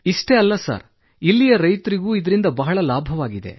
ಇಷ್ಟೇ ಅಲ್ಲ ಸರ್ ಇಲ್ಲಿಯ ರೈತರಿಗೂ ಇದರಿಂದ ಬಹಳ ಲಾಭವಾಗಿದೆ